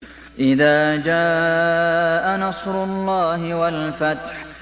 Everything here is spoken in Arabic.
إِذَا جَاءَ نَصْرُ اللَّهِ وَالْفَتْحُ